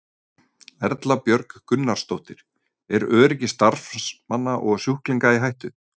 Erla Björg Gunnarsdóttir: Er öryggi starfsmanna og sjúklinga í hættu?